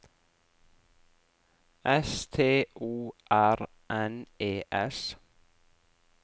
S T O R N E S